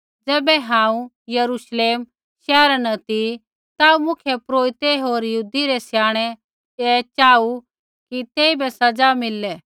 ज़ैबै हांऊँ यरूश्लेम शैहरा न ती ता मुख्यपुरोहिते होर यहूदी रै स्याणै ऐ चाहू कि तेइबै सज़ा मिलली